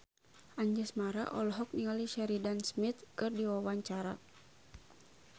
Anjasmara olohok ningali Sheridan Smith keur diwawancara